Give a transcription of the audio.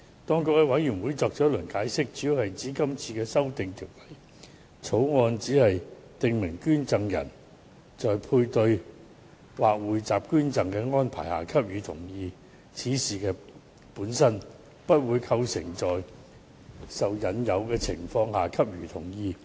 當局向法案委員會作出解釋，主要指出今次修訂只是訂明捐贈人在配對或匯集捐贈安排下給予同意此事本身，不會構成在受引誘的情況下給予同意。